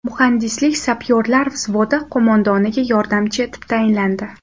Muhandislik-sapyorlar vzvodi qo‘mondoniga yordamchi etib tayinlandi.